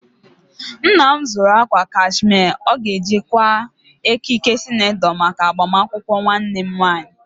Nna m zụrụ akwa kashmia ọ ga-eji kwaa ekike senetọ maka agbamakwụkwọ nwannem nwaanyị.